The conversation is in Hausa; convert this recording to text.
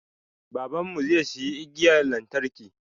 Baban mu zai siya igiyan lantarki